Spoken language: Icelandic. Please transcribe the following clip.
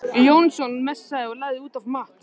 Jónsson messaði og lagði út af Matt.